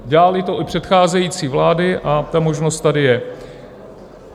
Dělaly to i předcházející vlády a ta možnost tady je.